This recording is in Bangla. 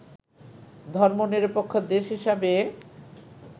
ধর্মনিরপেক্ষ দেশ হিসাবে